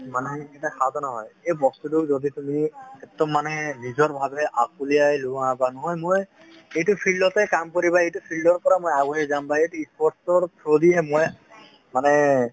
মানে এই বস্তুটো যদি তুমি একদম মানে নিজৰ ভাবে আকলিয়াই লোৱা বা নহয় মই এইটো field তে কাম কৰিবা এইটো field ৰ পৰা মই আগুৱাই যাম বা sports ৰ through দিহে মই মানে